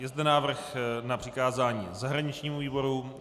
Je zde návrh na přikázání zahraničnímu výboru.